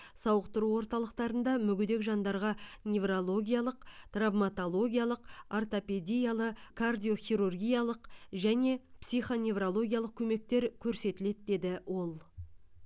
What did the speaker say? сауықтыру орталықтарында мүгедек жандарға неврологиялық травматологиялық ортопедиялы кардиохирургиялық және психоневрологиялық көмектер көрсетіледі деді ол